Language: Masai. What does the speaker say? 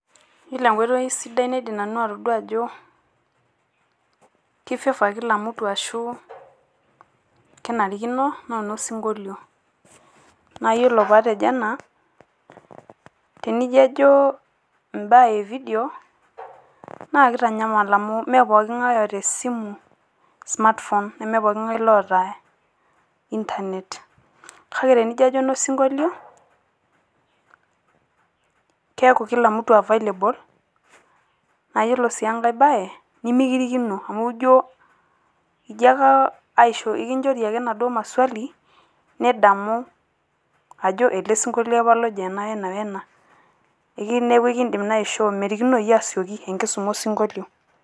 iyiolo enkoitoi sidai naidim nanu atoduaa aj, ki favor kila mtu ,ashu kenarikino naa baa osinkolio, naa iyiolo pee atejo ena, naa tenijo ajo ibaa e video naa kitanyamal amu, mme pooki ng'ae oota esimu smartphone neme pooki ng'ae oota internet .kake tenijo ajo eno sinkolio, keeku kila myu available ,naa iyiolo sii enkae bae nemikirikino, amu ekinchori ake maswali nijo ele sinkolio apa ojo ena wena, neeku merikinoi asioki enkisuma osinkolio.